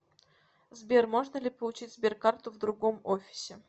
сбер можно ли получить сберкарту в другом офисе